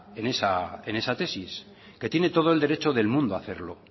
en esa tesis que tiene todo el derecho del mundo a hacerlo